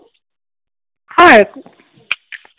হয়,